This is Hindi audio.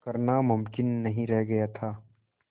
करना मुमकिन नहीं रह गया था